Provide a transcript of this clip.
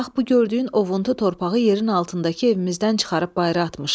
Bax bu gördüyün ovuntu torpağı yerin altındakı evimizdən çıxarıb bayıra atmışıq.